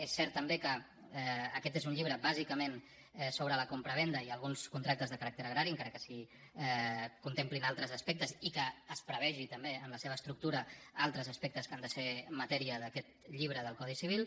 és cert també que aquest és un llibre bàsicament sobre la compravenda i alguns contractes de caràcter agrari encara que s’hi contemplin altres aspectes i que es prevegi també en la seva estructura altres aspectes que han de ser matèria d’aquest llibre del codi civil